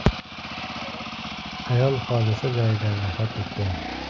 (ayol) hodisa joyida vafot etgan.